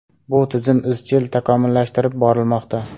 Bu tizim izchil takomillashtirib borilmoqda.